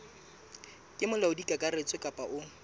ke molaodi kakaretso kapa o